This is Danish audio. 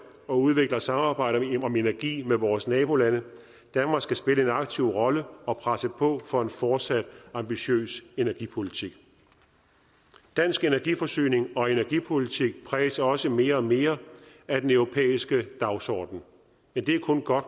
og udvikler samarbejder om energi med vores nabolande danmark skal spille en aktiv rolle og presse på for en fortsat ambitiøs energipolitik dansk energiforsyning og energipolitik præges også mere og mere af den europæiske dagsorden men det er kun godt